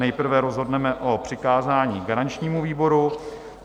Nejprve rozhodneme o přikázání garančnímu výboru.